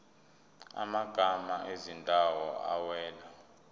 amagama ezindawo awela